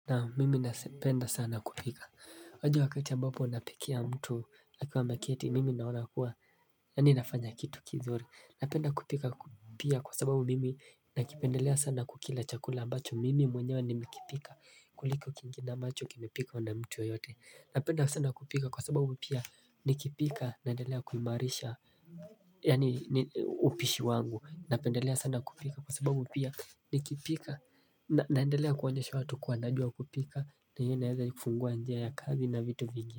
Naam mimi napenda sana kupika Waja wakati ya ambapo anapikia mtu akiwa ameketi mimi naona kuwa Yaani nafanya kitu kizuri Napenda kupika pia kwa sababu mimi nakipendelea sana kukila chakula ambacho mimi mwenyewa nimekipika kuliko kingine ambacho kimepikwa na mtu yoyote Napenda sana kupika kwa sababu pia nikipika naendelea kuimarisha Yaani upishi wangu Napendelea sana kupika kwa sababu pia nikipika naendelea kuonyesha watu kuwa najua kupika na hiyo inaezafungua njia ya kazi na vitu zingine.